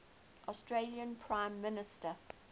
australian prime minister